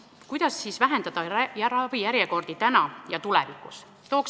Kuidas siis vähendada ravijärjekordi täna ja tulevikus?